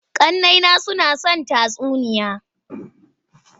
Ƙannena suna son tatsuniya.